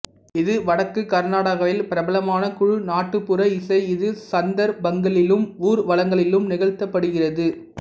இது வடக்கு கர்நாடகாவில் பிரபலமான குழு நாட்டுப்புற இசை இது சந்தர்ப்பங்களிலும் ஊர்வலங்களிலும் நிகழ்த்தப்படுகிறது